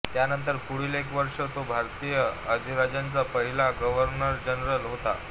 त्यानंतर पुढील एक वर्ष तो भारतीय अधिराज्याचा पहिला गव्हर्नरजनरल होता